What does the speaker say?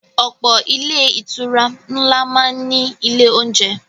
Ọ̀pọ̀ ilé-ìtura ńlá máa ń ní ilé-oúnjẹ.